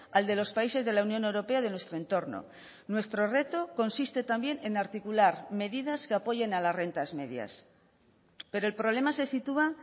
al de los países de la unión europea de nuestro entorno nuestro reto consiste también en articular medidas que apoyen a las rentas medias pero el problema se sitúa